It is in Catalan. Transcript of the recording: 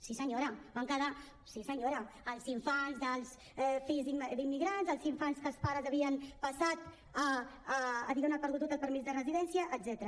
sí senyora en van quedar fora sí senyora els infants dels fills d’immigrants els infants que els pares havien perdut diguem ne el permís de residència etcètera